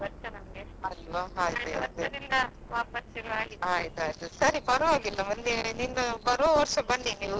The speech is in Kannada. ಇಲ್ಲಿ ಕೆರೆಯಲ್ಲಿ ತೆಪೋತ್ಸವ ಇರ್ತದೆ ಅದೆಲ್ಲಾ ನಡಿತಾ ಇರ್ತದೆ ಭಾರಿ ಚಂದ ಇರ್ತದೆ ನೋಡ್ಲಿಕ್ಕೆ ಅದು ಯಾವುದುಸ ಸಿಗಲೇ ಇಲ್ಲ ಈ ವರ್ಷ ನಮ್ಗೆ ಈಗ ವಾಪಸ್ ಶುರುವಾಗಿದೆ.